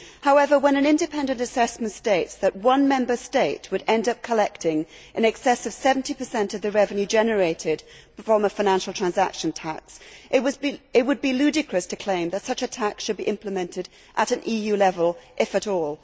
However, when an independent assessment states that one Member State would end up collecting in excess of 70 of the revenue generated from a financial transaction tax, it would be ludicrous to claim that such a tax should be implemented at an EU level, if at all.